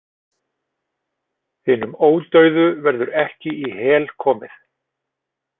Hinum ódauðu verður ekki í Hel komið.